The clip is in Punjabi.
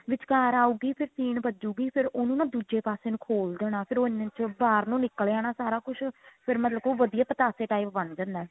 ਵਿਚਕਾਰ ਆਉਗੀ ਫੇਰ ਸੀਨ ਵਜੁੱਗੀ ਫੇਰ ਉਹਨੂੰ ਨਾ ਦੁੱਜੇ ਪਾਸੇ ਨੂੰ ਖੋਲ ਦੇਣਾ ਫੇਰ ਉਹ ਇੰਨੇ ਚ ਬਾਹਰ ਨੂੰ ਨਿਕਲ ਜਾਣਾ ਸਾਰਾ ਕੁੱਝ ਫੇਰ ਮਤਲਬ ਕਿ ਉਹ ਵਧੀਆ ਪਤਾਸ਼ੇ type ਬੰਨ ਦੇਣਾ